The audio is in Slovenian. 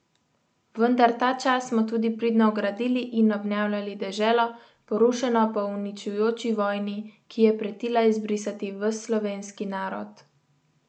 Vendar ta čas smo tudi pridno gradili in obnavljali deželo, porušeno po uničujoči vojni, ki je pretila izbrisati ves slovenski narod.